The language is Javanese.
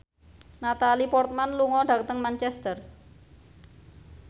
Natalie Portman lunga dhateng Manchester